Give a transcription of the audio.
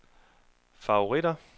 favoritter